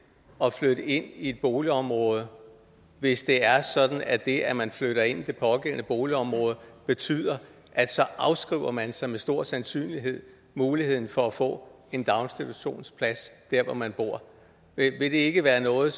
at flytte ind i et boligområde hvis det er sådan at det at man flytter ind i det pågældende boligområde betyder at så afskriver man sig med stor sandsynlighed muligheden for at få en daginstitutionsplads der hvor man bor vil det ikke være noget